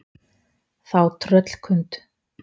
Þá tröllkund